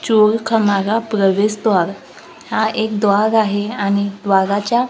चोलखामाला प्रवेशद्वार हा एक द्वार आहे आणि द्वाराच्या--